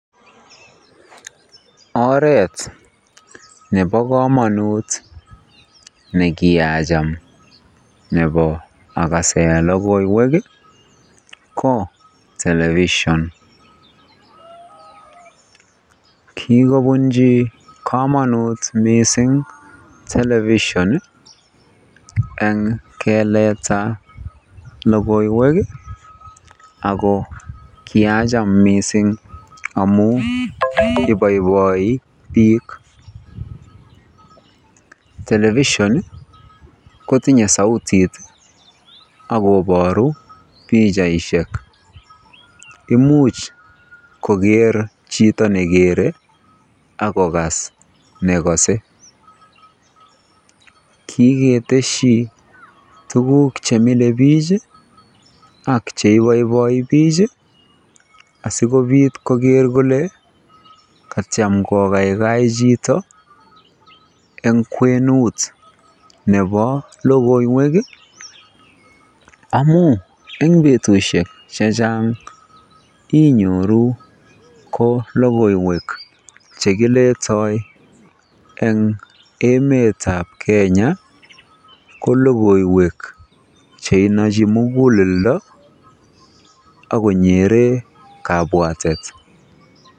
Oreet nebo komonut nekiacham akasen lokoiwek ko television, kikobunchi komonut mising television eng keleta lokoiwek ak ko kiacham mising amun iboiboi biik, television kotinye sautit ak koboru pichaishek, imuch koker chitto nekere akokas nekose, kiketeshi tukuk chemile biik ak cheiboiboi biik asikobit koker kolee kakitiem kokaikai chito en kwenut nebo lokoiwek amun en betushe chechang inyoru ko lokoiwek che kiletoi eng emetab Kenya ko lokoiwek cheinochi mukuleldo ak konyere kabwatet.